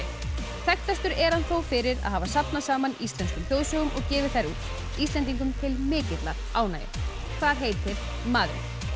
þekktastur er hann þó fyrir að hafa safnað saman íslenskum þjóðsögum og gefið þær út Íslendingum til mikillar ánægju hvað heitir maðurinn